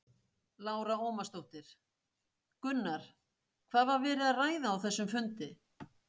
Lára Ómarsdóttir: Gunnar, hvað var verið að ræða á þessum fundi?